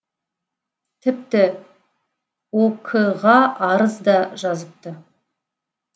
тіпті ок ға арыз да жазыпты